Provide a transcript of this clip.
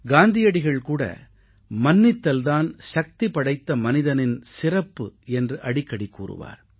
காந்தியடிகள் கூட மன்னித்தல் தான் சக்திபடைத்த மனிதனின் சிறப்பு என்று அடிக்கடி கூறுவார்